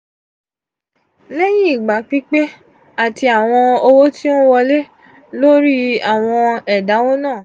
leyin igba pipe ati awọn owo ti o n wole lori awon edawo naa.